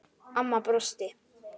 Amma brosti.